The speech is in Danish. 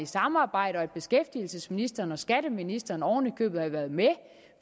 samarbejde og at beskæftigelsesministeren og skatteministeren oven i købet havde været med